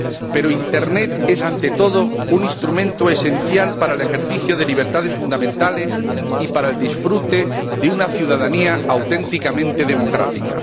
Pero Internet es, ante todo, un instrumento esencial para el ejercicio de libertades fundamentales y para el disfrute de una ciudadanía auténticamente democrática.